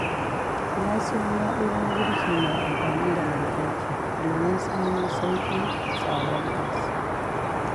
Na siyo na'urar girki mai amfani da lantarki, domin samu sauƙin tsadar gas.